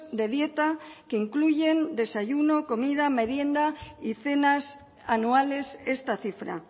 de dieta que incluyen desayuno comida merienda y cenas anuales esta cifra